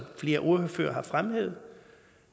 flere ordførere har fremhævet